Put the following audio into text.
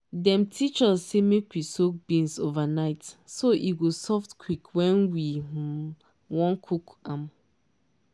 dem teach us say make we soak beans overnight so e go soft quick when we um wan cook am